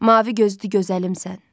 Mavi gözlü gözəlimsən.